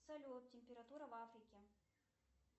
салют температура в африке